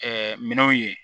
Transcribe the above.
minɛnw ye